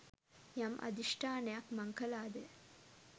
යම් අධිෂ්ඨානයක් මං කළාද